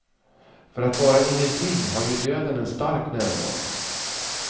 För att vara ingenting har ju döden en stark närvaro.